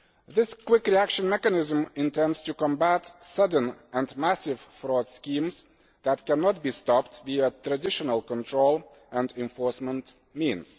This quick reaction mechanism is intended to combat sudden and massive fraud schemes that cannot be stopped via traditional control and enforcement means.